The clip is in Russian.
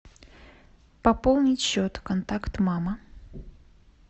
пополнить счет контакт мама